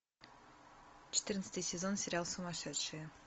четырнадцатый сезон сериал сумасшедшие